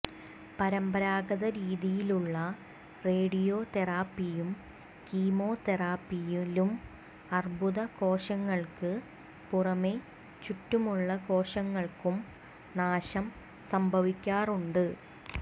പരമ്പരാഗതരീതിയിലുള്ള radio തെറാപ്പിയിലും chemo തെറാപ്പിയിലും അര്ബുദ കോശങ്ങള്ക്ക് പുറമെ ചുറ്റുമുള്ള കോശങ്ങള്ക്കും നാശം സംഭവിക്കാറുണ്ട്